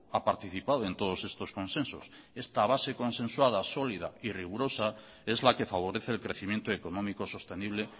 ha participado en todos estos consensos esta base consensuada sólida y rigurosa es la que favorece el crecimiento económico sostenible